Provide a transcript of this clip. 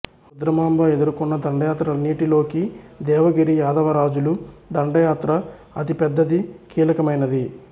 రుద్రమాంబ ఎదుర్కొన్న దండయాత్రలన్నిటిలోకీ దేవగిరి యాదవరాజుల దండయాత్ర అతి పెద్దది కీలకమైనది